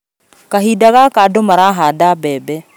Kahinda gaka andũmarahanda mbembe